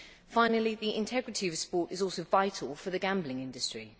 Finally, the integrity of sport is also vital for the gambling industry.